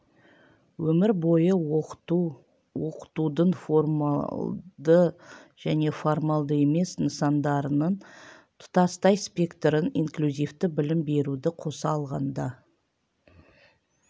өмір бойы оқыту оқытудың формалды және формалды емес нысандарының тұтастай спектрін инклюзивті білім беруді қоса алғанда